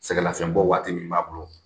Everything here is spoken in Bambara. Sɛgɛlafiyɛbɔ waati min b'a bolo